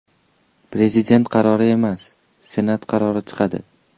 Prezident qarori emas, Senat qarori chiqadi!